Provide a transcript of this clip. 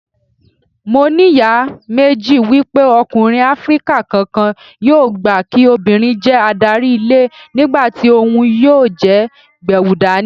Mo ní iyèméjì wípé ọkùnrin Áfríkà kankan yóò gbà kí obìnrin jẹ́ adarí ilé nígbàtí òhun yóò jẹ́ gbẹ̀wùdání.